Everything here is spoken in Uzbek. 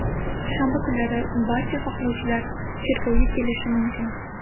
Shanba kunlari barcha xohlovchilar cherkovga kelishi mumkin.